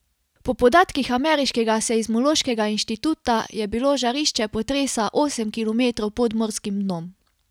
Po podatkih ameriškega seizmološkega inštituta je bilo žarišče potresa osem kilometrov pod morskim dnom.